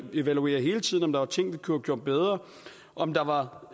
vi evaluerer hele tiden om der var ting vi kunne have gjort bedre om der var